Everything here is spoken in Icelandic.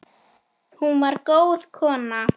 Hún var góð kona.